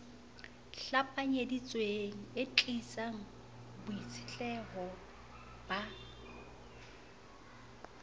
hlapanyeditsweng e tiisang boitshetleho ba